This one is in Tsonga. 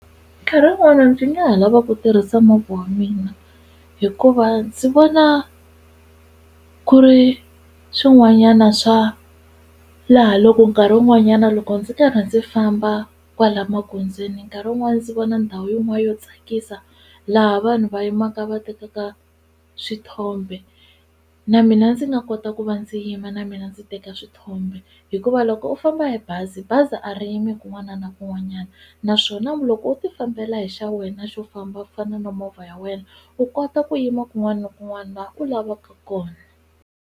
Nkarhi wun'wani ndzi nga ha lava ku tirhisa movha wa mina hikuva ndzi vona ku ri swin'wanyana swa laha loko nkarhi wun'wanyana loko ndzi karhi ndzi famba kwala magondzweni nkarhi wun'wani ndzi vona ndhawu yin'wana yo tsakisa laha vanhu va yimaka va tekaka swithombe na ndzi nga kota ku va ndzi yima na mina ndzi teka swithombe hikuva loko u famba hi bazi bazi a ri yimi kun'wana na kun'wanyana naswona loko u ti fambela hi xa wena xo famba ku fana na movha ya wena u kota ku yima kun'wana na kun'wana laha u lavaka kona.